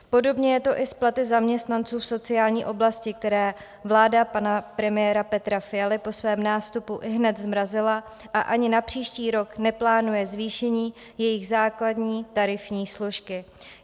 Podobně je to i s platy zaměstnanců v sociální oblasti, které vláda pana premiéra Petra Fialy po svém nástupu ihned zmrazila a ani na příští rok neplánuje zvýšení jejich základní tarifní složky.